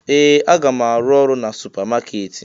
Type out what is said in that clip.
Ee! Aga m arụ ọrụ na supamakeeti.